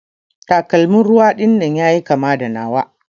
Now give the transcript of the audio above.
Takalman ruwa dinnan yayi kama da nawa.